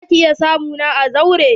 Za ki iƴa samu na a zauren?